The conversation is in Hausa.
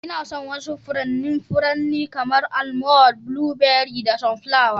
Ina son wasu furannin furanni kamar; Almond, blueberry da sunflower.